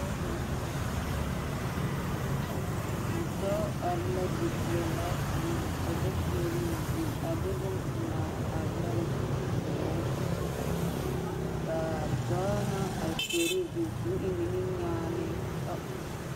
Dɔɔ are la dipeɛlaa kaŋa ka ba kyeɛroo zu a de bompelaa a yɛre pɔgoo ka dɔɔ naŋ are kyeɛroo zu k'o eŋ niminyaanee